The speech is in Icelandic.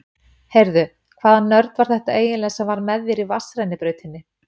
Heyrðu. hvaða nörd var þetta eiginlega sem var með þér í vatnsrennibrautinni?